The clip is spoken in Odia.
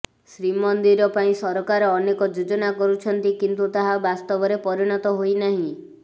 ଶ୍ରୀମନ୍ଦିର ପାଇଁ ସରକାର ଅନେକ ଯୋଜନା କରୁଛନ୍ତି କିନ୍ତୁ ତାହା ବାସ୍ତବରେ ପରିଣତ ହୋଇନାହିଁ